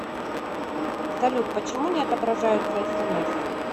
салют почему не отображаются смс